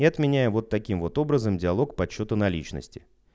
и отменяю вот таким вот образом диалог подсчёта наличности